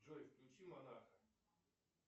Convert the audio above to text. джой включи монаха